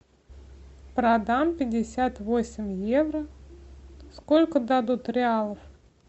продам пятьдесят восемь евро сколько дадут реалов